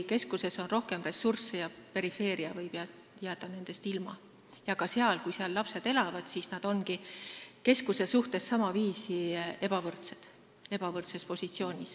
Keskuses on rohkem ressursse ja perifeeria võib jääda nendest ilma ning kui lapsed seal elavad, siis nad ongi keskuses elavate lastega võrreldes ebavõrdses positsioonis.